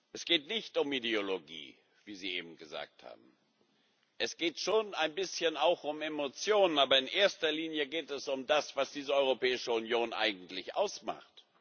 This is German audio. Es geht nicht um Ideologie, wie Sie eben gesagt haben. Es geht schon ein bisschen auch um Emotionen, aber in erster Linie geht es um das, was diese Europäische Union eigentlich ausmacht.